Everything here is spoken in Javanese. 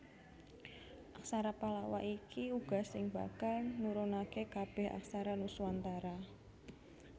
Aksara Pallawa iki uga sing bakal nurunake kabèh aksara Nuswantara